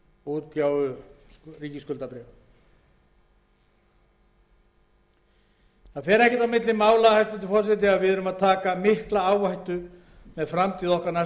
fer ekkert á milli mála að við erum að taka mikla áhættu með framtíð okkar næstu